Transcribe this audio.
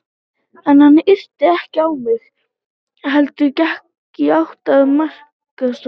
En hann yrti ekki á mig heldur gekk í átt að markaðstorginu.